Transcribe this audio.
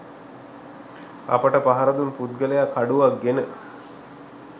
අපිට පහරදුන් පුද්ගලයා කඩුවක් ගෙන